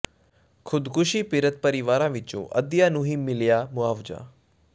ਖ਼ੁਦਕੁਸ਼ੀ ਪੀੜਤ ਪਰਿਵਾਰਾਂ ਵਿੱਚੋਂ ਅੱਧਿਆਂ ਨੂੰ ਹੀ ਮਿਲਿਆ ਮੁਆਵਜ਼ਾ